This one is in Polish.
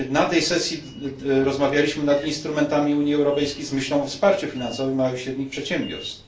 właśnie na tej sesji rozmawialiśmy nad instrumentami Unii Europejskiej z myślą o wsparciu finansowym małych i średnich przedsiębiorstw.